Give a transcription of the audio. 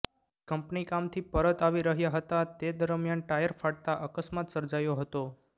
company કામથી પરત આવી રહ્યા હતા તે દરમિયાન ટાયર ફાટતાં અકસ્માત સર્જાયો હતો